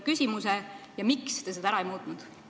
Kui tõstatas, siis miks te seda ära ei ole muutnud?